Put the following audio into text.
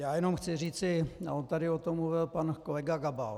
Já jenom chci říci - a on tady o tom mluvil pan kolega Gabal.